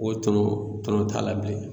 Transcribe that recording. O tɔnɔ, tɔnɔ t'a la bilen.